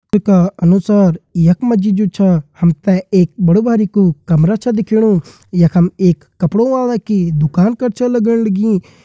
चित्र का अनुसार यख मा जी जु छा हम तें एक बड़ु बारिकु कमरा छ दिखेण यखम एक कपड़ो वाले की दुकान कर छ लग्ण लगीं।